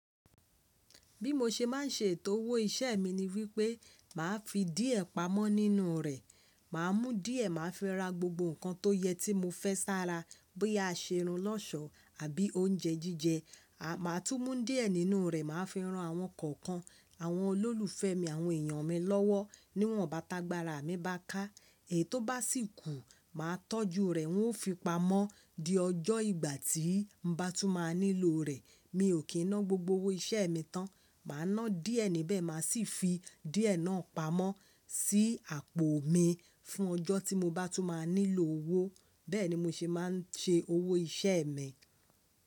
Bí mo ṣe máa ń ṣe ètò owó iṣẹ́ mi ni wípé, màá fi díẹ̀ pamọ́ nínú rẹ̀. Màá mú díẹ̀, màá fẹ́ ra gbogbo nǹkan tó yẹ tí mo fẹ́ sára, bóyá a ṣe irun lọ́ọ̀ṣọ́ àbí oúnjẹ jíjẹ. À máa tún mú díẹ̀ nínú rẹ̀, màá fẹ́ rán àwọn kọ̀ọ̀kan, àwọn olólùfẹ́ mi, àwọn èyàn mi lọ́wọ́, níwọ̀n bàtàgbara mi bá ká. Èyí tó bá sì kú, màá tọ́jú rẹ̀, wọ́n ó fi pamọ́ di ọjọ́ ìgbà tí n bá tún máa nílò rẹ̀. Mi ò kí ń ná gbogbo owó iṣẹ́ mi tán. Màá ná díẹ̀ níbẹ̀, màá sì fi díẹ̀ náà pamọ́ sí àpò mi fún ọjọ́ tí mo bá tún máa nílò owó. Bẹ́ẹ̀ ni mo ṣe máa ń ṣe owó iṣẹ́ mi.